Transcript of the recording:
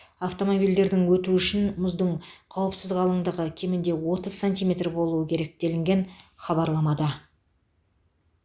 автомобильдердің өтуі үшін мұздың қауіпсіз қалыңдығы кемінде отыз сантиметр болуы керек делінген хабарламада